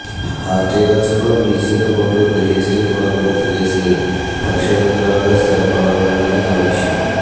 హార్టికల్చర్లో పీజీతోపాటు పీహెచ్డీ కూడా పూర్తిచేసి పరిశోధకురాలిగా స్థిరపడాలనేది నా లక్ష్యం